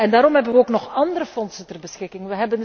Daarom hebben we ook nog andere fondsen ter beschikking.